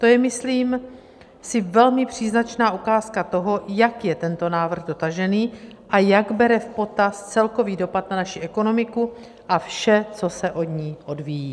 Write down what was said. To je, myslím si, velmi příznačná ukázka toho, jak je tento návrh dotažený a jak bere v potaz celkový dopad na naši ekonomiku a vše, co se od ní odvíjí.